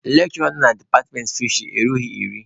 Lekshụra nọ na departmentị fisheri erughị iri.